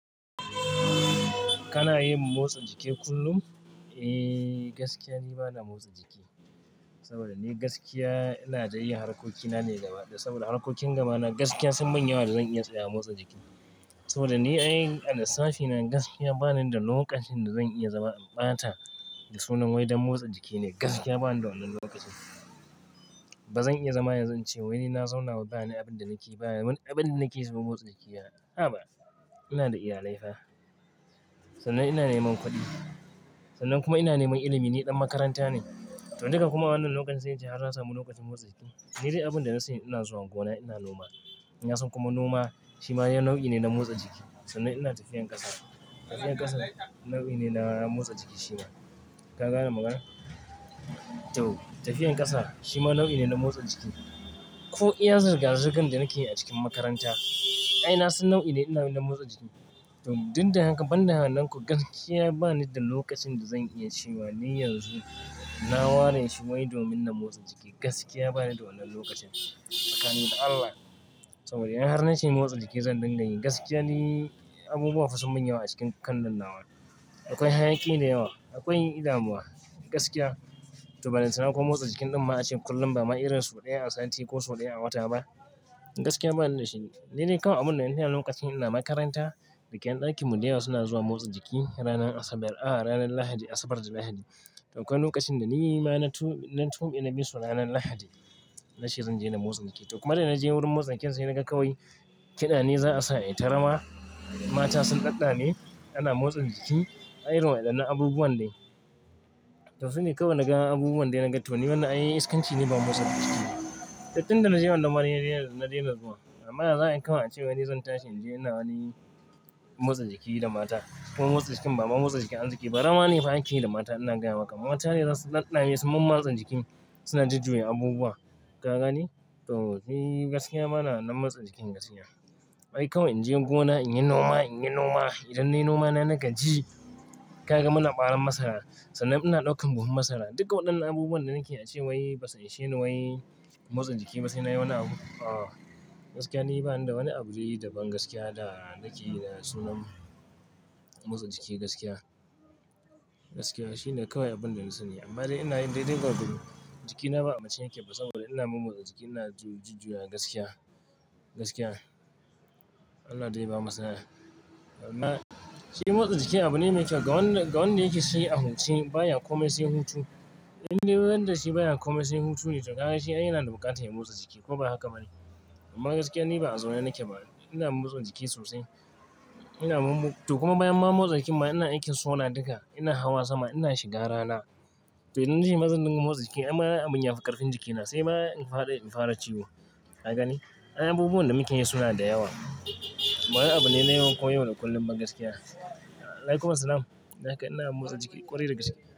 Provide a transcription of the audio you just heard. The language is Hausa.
Kana yin motsa jiki kullum? Eh gaskiya ni bana motsa jiki. Saboda ni gaskiya ina dai yin harkokina ne gaba da saboda harkokin gabana gaskiya sun manya wa da zan iya tsaya motsa jiki. Saboda ni ai a lissafina gaskiya bani da lokacin da zan iya zama ɓata da sunan wai don motsa jiki ne gaskiya bani da wannan lokacin. Ba zan iya zama yanzu in ce wai ni na zauna baya ni abin da nake baya mun abin da nake saboda motsa jiki a, a ba. Ina da iyalai fa. Sannan ina neman kuɗi. Sannan kuma ina neman ilimi ni ɗan makaranta ne. To duka kuma wannan lokacin sai in ce har na samu lokacin motsa jiki. Ni dai abin da na sani ina zuwa gona ina noma. In yasan kuma noma shi ma ya nau'i ne na motsa jiki. Sannan ina tafiyar ƙasa. Tafiyar ƙasa nau'i ne na motsa jiki shi ma. Ka gane magana? To tafiyar ƙasa shi ma nau'i ne na motsa jiki. Ko iya zirga-zirgan da nake yi a cikin makaranta. Ai nasan nau'i ne ina yi na motsa jiki. To duk dinda haka ban da hananku gaskiya bani da lokacin da zan iya ci wa ni yanzu na ware shi wai domin na motsa jiki gaskiya bani da wannan lokacin. Sakani da Allah saboda in har na ce motsa jiki zan dinga yi gaskiya ni abubuwa fasin manyawa a cikin kannan nawa. Akwai hayaki da yawa. Akwai da muwa gaskiya. To ballanta kuma motsa jikin ɗin ma ba a ce kullum ba ma'irin sau ɗaya a sati ko sau ɗaya a wata ba. Gaskiya bani da shi. Ni dai kawai abin da ina yana lokacin ina makaranta. Rike ɗakin mu da yawa suna zuwa motsa jiki ranar Asabar al'aha ranar Lahadi Asabar da Lahadi. To akwai lokacin da ni ma na tu, na tuhmi na bisu ranan Lahadi. Na ce zan je na motsa jiki. To kuma da na je wurin motsa jikin sai naga kawai kiɗa ne za a sa a yi ta rawa. Mata sun ɗaɗa ne ana motsa jiki ai irin wannan abubuwan ne. To su ne kawai naga abubuwan da naga to ni wannan ai iskanci ne ba motsa jiki. Tattun da na je wannan ma ai na daina zuwa. Amma yaza a yi kawai acewa ni zan tashi in je ina wani motsa jiki da mata. Kuma motsa jikin ba ma motsa jikin an jiki ba rawa ne fa ake yi da mata ina gaya maka. Mata ne za su ɗaɗa ne su man matsa jiki suna jujjuyan abubuwa. Ka gane? To shi gaskiya bana wannan motsa jikin gaskiya. Ai kawai in je gona in yi noma, in yi noma idan nayi noma na na gaji. Ka ga muna baran masara? Sannan ina ɗaukan buhun matsala. Duka waɗannan abubuwan da nake yi ace wai ba su ishene wai motsa jiki ba sai na yi wannan abu. Ah gaskiya ni bani da wani abun dai daban gaskiya da yake da sunan motsa jiki gaskiya. Gaskiya shine kawai abin da na sani amma dai ina yin daidai gwargwadon jikina ba a mace yake ba saboda ina mun motsa jiki ina ju jujjuya gaskiya. Gaskiya. Allah dai ba matsala. Amma shi motsa jiki abu ne mai kyau ga wanda, ga wanda yake shi a huti baya komai sai hutu. Indai wanda shi baya komai sai hutu ne. Dakane shi ai yana da buƙatar ya motsa jiki ko baya haka bane. Amma gaskiya ni ba a zaune nake ba ina motsa jiki sosai. Ina mun mu to kuma bayan ma motsa jikin ma ina aikin sona duka ina hawa sama ina shiga rana. To ina shi mazan nan kuma motsa jiki amma abin ya fi ƙarfin jikina sai ma in faɗa in fara ciwo. Ka gane? Ai abubuwan da muke yi suna da yawa. Ba abu ne na yawan koyo da kullum ba gaskiya. Alaykum assalam. Dakai ina motsa jiki ƙwarai da gaskiya.